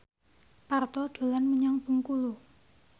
Parto dolan menyang Bengkulu